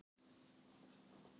Litlahjalla